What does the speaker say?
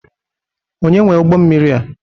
Onye nwe ụgbọmmiri a?